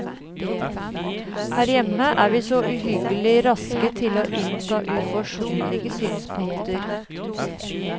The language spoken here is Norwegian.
Her hjemme er vi så uhyggelig raske til å innta urforsonlige synspunkter.